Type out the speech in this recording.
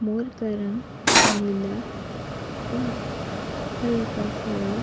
मोर का रंग नीला व हल्का हरा --